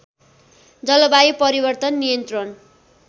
जलवायु परिवर्तन नियन्त्रण